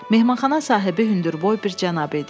Mehmanxana sahibi hündürboy bir cənab idi.